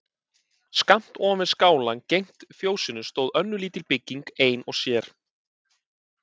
Skammt ofan við skálann gegnt fjósinu stóð önnur lítil bygging ein og sér.